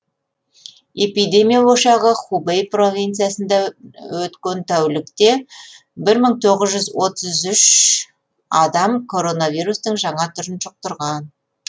эпидемия ошағы хубэй провинциясында өткен тәулікте бір мың тоғыз жүз отыз үш адам коронавирустың жаңа түрін жұқтырған